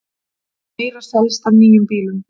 Meira selst af nýjum bílum